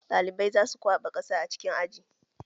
Ɗalibai za su kwaɓa ƙasa a cikin aji